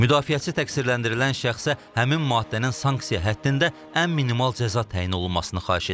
Müdafiəçi təqsirləndirilən şəxsə həmin maddənin sanksiya həddində ən minimal cəza təyin olunmasını xahiş edib.